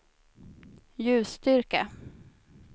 ljusstyrka